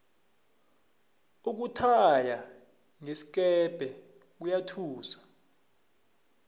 ukuthaya ngesikepe kuyathusa